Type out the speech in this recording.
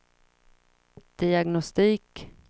diagnostik